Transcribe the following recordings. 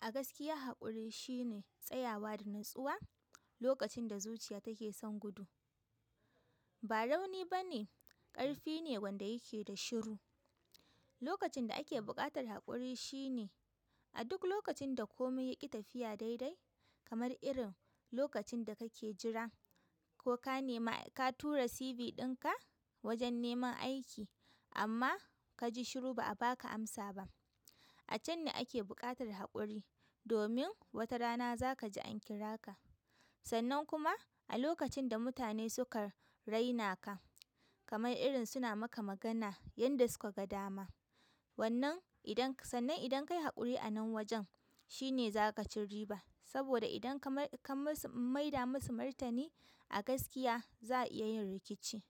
A gaskiya haƙuri shine tsayawa da natsuwa lokacin da zuciya take son gudu. Ba rauni bane, ƙarfi ne wanda yake da shiru. Lokacin da ake buƙatar haƙuri shine a duk lokacin da komi yaƙi tafiya daidai kamar irin lokacin da kake jira koka nema, ka tura CV ɗinka wajen neman aiki amma kaji shiru ba'a baka amsa ba. A can ne ake buƙatar haƙuri domin wata rana za ka ji an kira ka. Sannan kuma a lokacin da mutane suka rainaka kamar irin suna maka magana yanda suka ga dama. Wannan idan ka, sannan idan kayi haƙuri a nan wajen shine zakaci riba. Saboda idan ka mar ka mus maida musu martani, a gaskiya za'a iya yin rikici.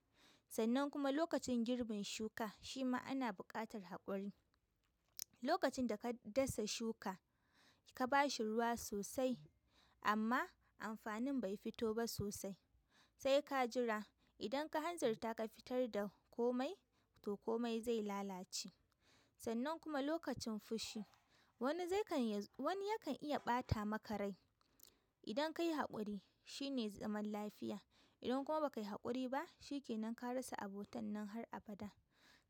Sannan kuma lokacin girbin shuka shi ma ana buƙatar haƙuri. Lokacin da ka dasa shuka ka ba shi ruwa sosai amma amfanin bai fito ba sosai. Sai ka jira idan ka hanzarta ka fitar da komai to komai zai lalace. Sannan kuma lokacin fushi wani zek wani ya kan iya ɓatama rai. Idan kayi haƙuri shine zaman lafiya. Idan kuma ba kayi haƙuri ba shi ke nan ka rasa abotan nan har abada.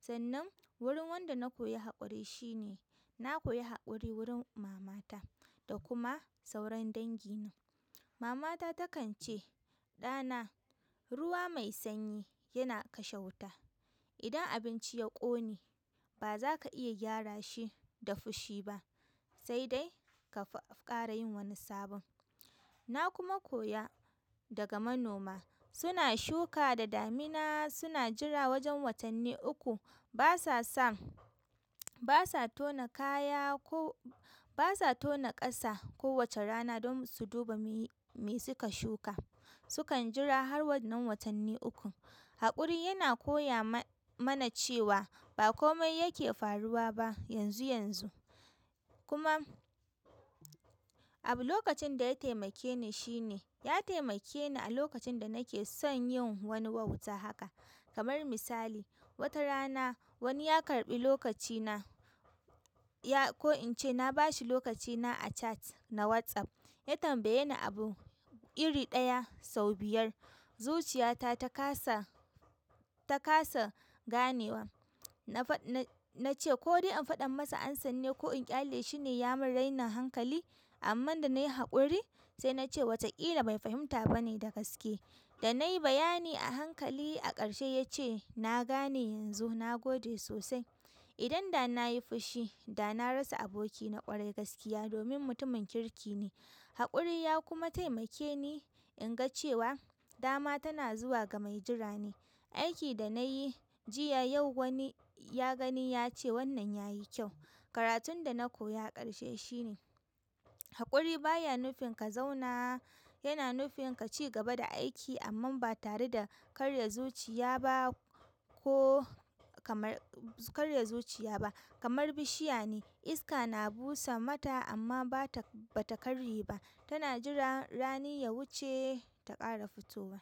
Sannan wurin wanda na koya haƙuri shine na koya haƙuri wurin mama ta da kuma sauran dangi na. Mama ta takan ce "ɗana ruwa mai sanyi yana kashe wuta. Idan abinci ya ƙone ba zaka iya gyara shi da fushi ba sai dai ka ƙara yin wani sabon." Na kuma koya daga manoma suna shuka da damina suna jira wajen watanni uku. Ba sa son, basa tona kaya ko basa tona ƙasa kowace rana domin su duba me suka shuka. Su kan jira har wannan watanni uku. Haƙuri yana koya ma mana cewa ba komai yake faruwa ba yanzu yanzu. Kuma abu lokacin ɗaya taimake ni shi ne ya taimake ni a lokacin da nake son yin wani wauta haka. Kamar misali wata rana wani ya karɓi lokaci na ya, ko ince na ba shi lokaci na a chat na WhatsApp. Ya tambaye ni abu iri ɗaya sau biyar. Zuciya ta, ta kasa, ta kasa ganewa. Na fa, na, nace ko dai in faɗan masa ansan ne ko in ƙyale shi ne ya mun rainin hankali? Amman danai haƙuri, sai nace wata ƙila bai fahimta bane da gaske. Da nayi bayani a hankali a ƙarshe ya ce "na gane yanzu na gode sosai." Idan da na yi fushi da na rasa aboki na ƙwarai gaskiya domin mutumin kirki ne. Haƙuri ya kuma taimake ni inga cewa dama tana zuwa ga mai jira ne. Aiki da nayi jiya yau wani ya gani yace wannan yayi kyau. Karatun dana koya a ƙarshe shi ne haƙuri baya nufin ka zauna, yana nufin kaci gaba da aiki amman ba tare da karya zuciya ba ko kamar, karya zuciya ba. Kamar bishiya ne iska na busa mata amma bata, bata karye ba tana jiran rani ya wuce ta ƙara fitowa.